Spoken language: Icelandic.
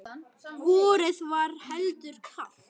Vorið var heldur kalt.